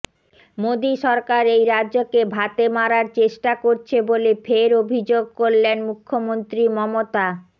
মোদী সরকার এই রাজ্যকে ভাতে মারার চেষ্টা করছে বলে ফের অভিযোগ করলেন মুখ্যমন্ত্রী মমতা